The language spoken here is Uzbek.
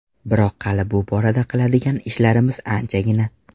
Biroq hali bu borada qiladigan ishlarimiz anchagina.